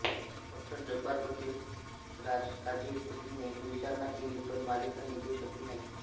डॉ जब्बार पटेल राज काझी इत्यादींनी विचारणा केली पण मालिका निघू शकली नाही